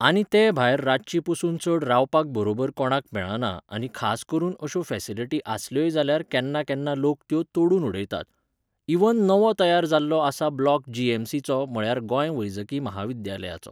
आनी ते भायर रातची पसून चड रावपाक बरोबर कोणाक मेळना आनी खास करून अश्यो फॅसिलिटी आसल्योय जाल्यार केन्ना केन्ना लोक त्यो तोडून उडयतात. इवन नवो तयार जाल्लो आसा ब्लॉक जी एम सी चो म्हळ्यार गोंय वैजकीय महाविद्यालयाचो